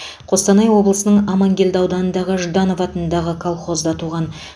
қостанай облысының аманкелді ауданындағы жданов атындағы колхозда туған